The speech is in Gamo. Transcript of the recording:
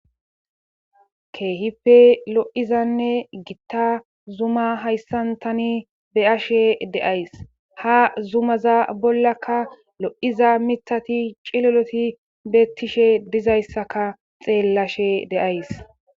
keehippe lo'izanne gitta zuma hayssan tani be'ashe de'ays ha zumaza bollakka lo'iza mithati ciloloti bettishe dizayssaka xeellashe de'ays